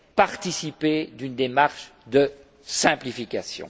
participer d'une démarche de simplification.